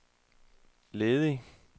ledig